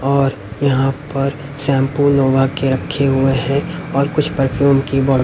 और यहां पर शैंपू लोवा के रखे हुए हैं और कुछ परफ्यूम की --'